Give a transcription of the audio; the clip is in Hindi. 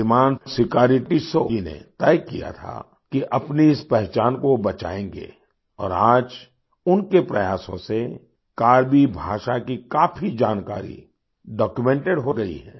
श्रीमान सिकारी टिस्सौ जी ने तय किया था कि अपनी इस पहचान को वो बचाएंगे और आज उनके प्रयासों से कार्बी भाषा की काफी जानकारी डॉक्यूमेंटेड हो गई है